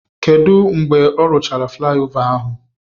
Kedu mgbe ọ rụchara flaịova ahụ?